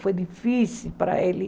Foi difícil para ele.